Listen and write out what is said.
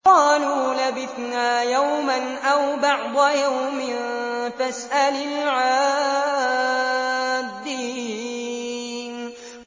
قَالُوا لَبِثْنَا يَوْمًا أَوْ بَعْضَ يَوْمٍ فَاسْأَلِ الْعَادِّينَ